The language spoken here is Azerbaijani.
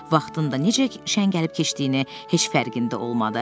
Vaxtında necə ki şən gəlib keçdiyini heç fərqində olmadı.